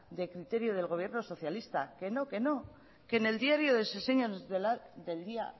de criterio del gobierno socialista que no que en el diario de sesiones